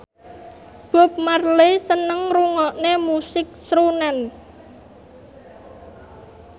Bob Marley seneng ngrungokne musik srunen